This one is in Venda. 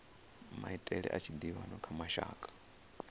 maitele a tshiḓivhano kha mashaka